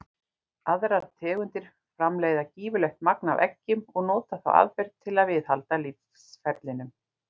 Aðrar tegundir framleiða gífurlegt magn af eggjum og nota þá aðferð til að viðhalda lífsferlinum.